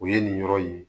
O ye nin yɔrɔ in ye